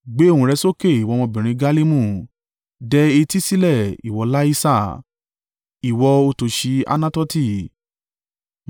Gbé ohùn rẹ sókè, ìwọ ọmọbìnrin Galimu! Dẹ etí sílẹ̀, ìwọ Laiṣa! Ìwọ òtòṣì Anatoti!